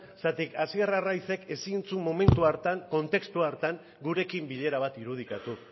zergatik hasier arraizek ezin zuen momentu hartan kontestuhartan gurekin bilera bat irudikatu